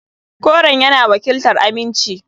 Koren yana wakiltar aminci.